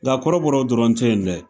Nka kɔrɔbɔrɔw dɔrɔn te yen dɛ